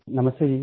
नमस्ते जी